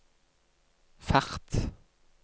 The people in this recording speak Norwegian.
fart